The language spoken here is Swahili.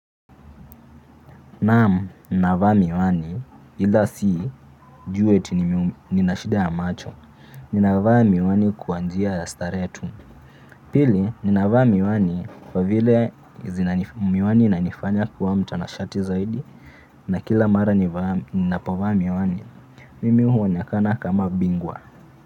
Naam, ninavaa miwani ila si juu eti nina shida ya macho. Ninavaa miwani kama njia ya starehe. Pili, ninavaa miwani kwa vile miwani hunifanya kuwa mtanashati zaidi. Na kila mara ninapovaa miwani mimi huwa huonekana kama bingwa.